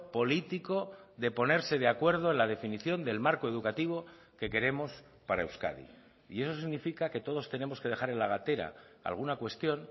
político de ponerse de acuerdo en la definición del marco educativo que queremos para euskadi y eso significa que todos tenemos que dejar en la gatera alguna cuestión